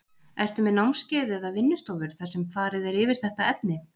Ertu með námskeið eða vinnustofur þar sem farið er yfir þetta efni?